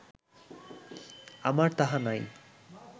আমার তাহা নাই